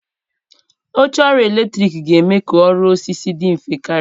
Oche ọrụ eletrọnịkị ga-eme ka ọrụ osisi dị mfe karịa.